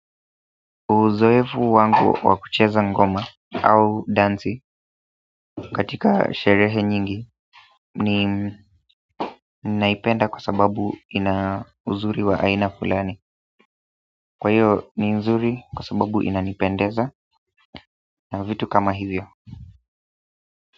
Uzoefu wangu wa kucheza ngoma au dansi katika sherehe nyingi ni naipenda kwa sababu ina uzuri wa aina fulani. Kwa hiyo ni uzuri kwa sababu inanipendeza na vitu kama hivyo.